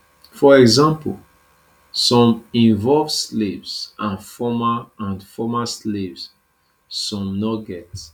for example some involve slaves and former and former slaves some no get